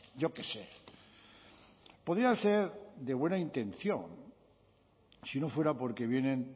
yo qué sé podía ser de buena intención si no fuera porque vienen